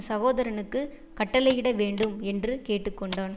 சகோதரனுக்குக் கட்டளையிடவேண்டும் என்று கேட்டு கொண்டான்